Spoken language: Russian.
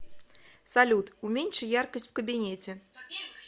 салют уменьши яркость в кабинете